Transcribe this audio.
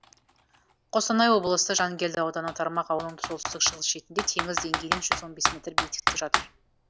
қостанай облысы жангелді ауданы тармақ ауылының солтүстік шығыс шетінде теңіз деңгейінен жүз он бес метр биіктікте жатыр